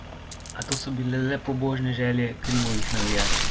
A to so bile le pobožne želje Krimovih navijačev.